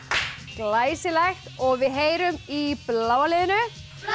glæsilegt og við heyrum í bláa liðinu